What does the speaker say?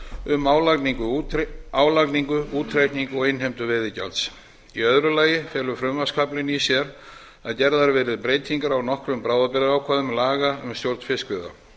um álagningu útreikning og innheimtu veiðigjalds í öðru lagi felur frumvarpskaflinn í sér að gerðar verði breytingar á nokkrum bráðabirgðaákvæðum laga um stjórn fiskveiða